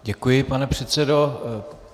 Děkuji, pane předsedo.